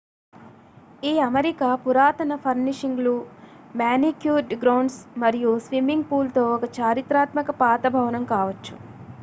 ఈ అమరిక పురాతన ఫర్నిషింగ్లు మానిక్యూర్డ్ గ్రౌండ్స్ మరియు స్విమ్మింగ్ పూల్ తో ఒక చారిత్రాత్మక పాత భవనం కావచ్చు